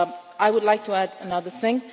I would like to add another thing.